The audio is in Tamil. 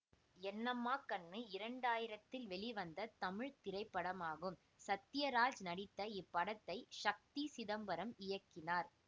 என்னம்மா கண்ணு இரண்டு ஆயிரத்தில் வெளிவந்த தமிழ் திரைப்படமாகும் சத்யராஜ்நடித்த இப்படத்தை ஷக்தி சிதம்பரம் இயக்கினார்